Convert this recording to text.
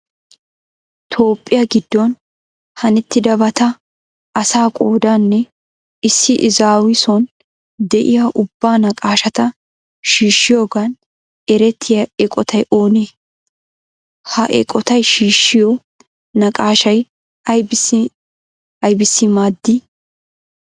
Toophphiya giddon hanettidabata, asaa qoodaanne issi izaawu son de'iya ubba naqaashata shiishshiyogan erettiya eqotay oonee? Ha eqotay shiishshiyo naqaashay aybissi aybissi maaddii?